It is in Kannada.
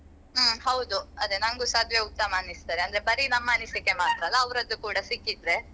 ಹ್ಮ್ ಹೌದು ಅದೆ ನನ್ಗುಸ ಅದುವೇ ಉತ್ತಮ ಅಂತ ಅನಿಸ್ತದೆ ಅಂದ್ರೆ ಬರಿ ನಮ್ಮ ಅನಿಸಿಕೆ ಅತ್ರ ಅಲ್ಲ ಅವ್ರದ್ದು ಕೂಡ ಸಿಕ್ಕಿದ್ರೆ.